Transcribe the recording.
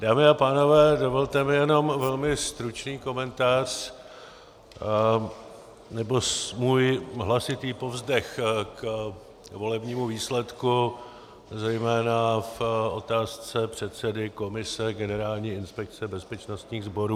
Dámy a pánové, dovolte mi jenom velmi stručný komentář, nebo můj hlasitý povzdech k volebnímu výsledku, zejména v otázce předsedy komise Generální inspekce bezpečnostních sborů.